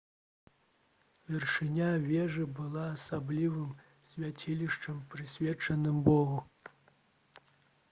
вяршыня вежы была асаблівым свяцілішчам прысвечаным богу